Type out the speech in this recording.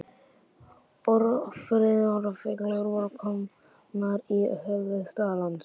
Ófriðarfylgjur voru komnar í höfuðstað landsins.